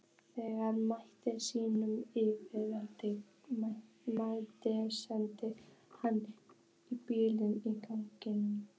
Þegar mælirinn sýndi leyfilegt magn setti hann bílinn í gang.